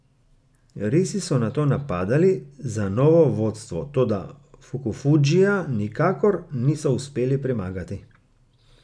Risi so nato napadali za novo vodstvo, toda Fukufudžija nikakor niso uspeli premagati.